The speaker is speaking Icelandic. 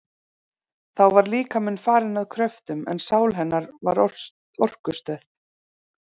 Þá var líkaminn farinn að kröftum, en sál hennar var orkustöð.